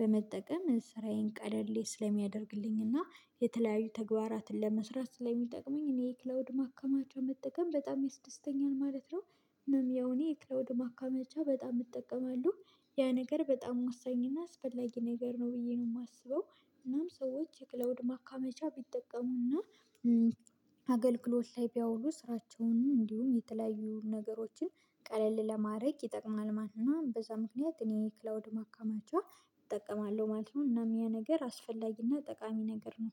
በመጠቀም ስራዬን ቀደል ስለሚያደርግልኝ እና የተለያዩ ተግባራትን ለመስራት ስለሚጠቅመኝ እኔ ክላውድ ማካማቻ መጠቀም በጣም ይስደስተኛል ማለት ነው። እናም ያው እኔ ክላውድ ማካመቻ በጣም እጠቀማለሁ። ያ ነገር በጣም ወሳኝ እና አስፈላጊ ነገር ነው ብዬ ነው የማስበው። እናም ሰዎች የክለውድ ማካመቻ ቢጠቀሙና አገልግሎት ላይ ቢያውሉ ስራቸውንም እንዲሁም የተለያዩ ነገሮችን ቀለል ለማድረግ ይጠቅማል ማለት ነው። በዛ ምክንያት እኔ ክላውድ ማከማቸው እጠቀማለሁ ማለት ነው እናም ያ ነገር አስፈላጊና ጠቃሚ ነገር ነው።